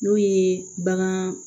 N'o ye bagan